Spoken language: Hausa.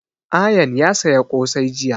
Ayaan ya saya ƙosai jiya